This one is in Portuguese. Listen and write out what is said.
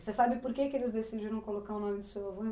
Você sabe por que que eles decidiram colocar o nome do seu avô